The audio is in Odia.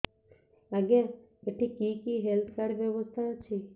ଆଜ୍ଞା ଏଠି କି କି ହେଲ୍ଥ କାର୍ଡ ବ୍ୟବସ୍ଥା ଅଛି